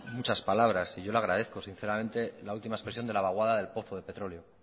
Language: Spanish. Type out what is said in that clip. muchas palabras y yo le agradezco sinceramente la última expresión de la vaguada del pozo de petróleo